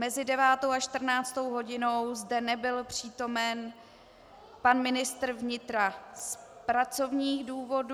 Mezi 9. a 14. hodinou zde nebyl přítomen pan ministr vnitra z pracovních důvodů.